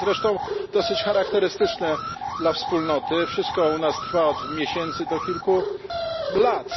To jest zresztą dosyć charakterystyczne dla Wspólnoty, że wszystko u nas trwa od miesięcy do kilku lat.